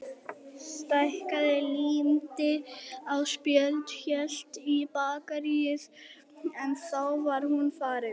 Stækkaði, límdi á spjöld, hélt í bakaríið en þá var hún farin.